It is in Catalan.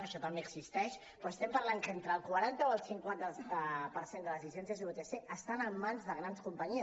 això també existeix però estem parlant que entre el quaranta o el cinquanta per cent de les llicències vtc estan en mans de grans companyies